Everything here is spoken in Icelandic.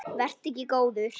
Vertu ekki góður.